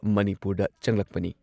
ꯃꯅꯤꯄꯨꯔꯗ ꯆꯪꯂꯛꯄꯅꯤ ꯫